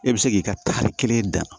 E bɛ se k'i ka tari kelen dan